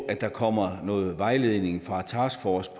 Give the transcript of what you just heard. at der kommer noget vejledning fra taskforcen